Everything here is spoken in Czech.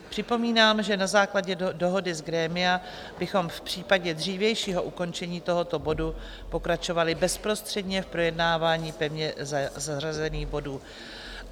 Připomínám, že na základě dohody z grémia bychom v případě dřívějšího ukončení tohoto bodu pokračovali bezprostředně v projednávání pevně zařazených bodů.